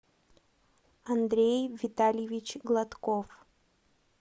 андрей витальевич гладков